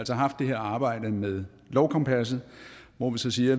haft det her arbejde med lovkompasset hvor vi så siger